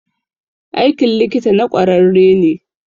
Aikin likita na kwararre ne.